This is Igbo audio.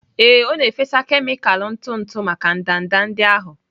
Ee, ọ na-efesa kemịkalụ ntụ ntụ maka ndanda ndị ahụ.